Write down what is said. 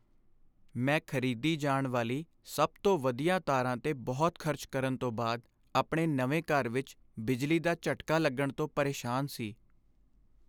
ਮੈਂ ਖਰੀਦੀ ਜਾਣ ਵਾਲੀ ਸਭ ਤੋਂ ਵਧੀਆ ਤਾਰਾਂ 'ਤੇ ਬਹੁਤ ਖਰਚ ਕਰਨ ਤੋਂ ਬਾਅਦ ਆਪਣੇ ਨਵੇਂ ਘਰ ਵਿੱਚ ਬਿਜਲੀ ਦਾ ਝਟਕਾ ਲੱਗਣ ਤੋਂ ਪਰੇਸ਼ਾਨ ਸੀ।